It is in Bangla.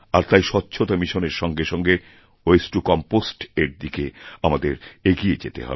আর তাইস্বচ্ছতা মিশনের সঙ্গে সঙ্গে ওয়াস্তেতো কম্পোস্ট এর দিকে আমাদের এগিয়ে যেতে হবে